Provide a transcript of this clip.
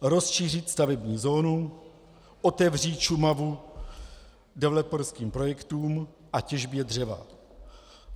Rozšířit stavební zónu, otevřít Šumavu developerským projektům a těžbě dřeva.